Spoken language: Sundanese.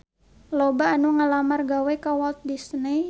Loba anu ngalamar gawe ka Walt Disney